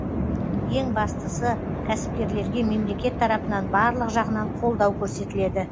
ең бастысы кәсіпкерлерге мемлекет тарапынан барлық жағынан қолдау көрсетіледі